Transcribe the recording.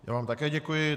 Já vám také děkuji.